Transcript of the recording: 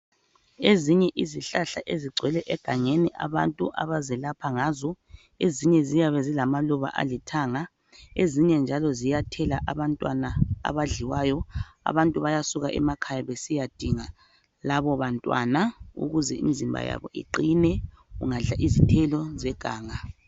Ezinye izihlahla ezigcwele egangeni, abantu abazelapha ngazo ezinye ziyabe zilamaluba alithanga. Ezinye njalo ziyathela abantwana abadliwayo. Abantu bayasuka emakhaya besiya dinga labo bantwana ukuze imizimba yabo iqine ungadla izithelo zeganga.